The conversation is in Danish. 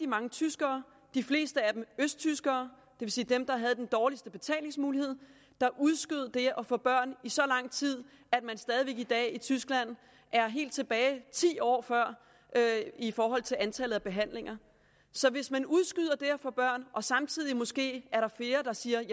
mange tyskere de fleste af dem østtyskere og vil sige dem der havde den dårligste betalingsmulighed der udskød det at få børn i så lang tid at man stadig i dag i tyskland er helt tilbage til ti år før i forhold til antallet af behandlinger så hvis man udskyder det at få børn og der samtidig måske er flere der siger at